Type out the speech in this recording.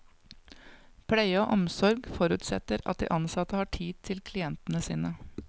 Pleie og omsorg forutsetter at de ansatte har tid til klientene sine.